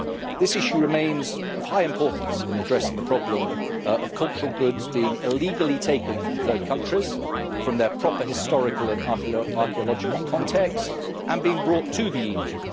This issue remains of high importance in addressing the problem of cultural goods being illegally taken from third countries, from their proper historical and archeological context, and being brought to the EU.